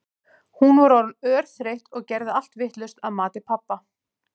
Hún var orðin örþreytt og gerði allt vitlaust að mati pabba.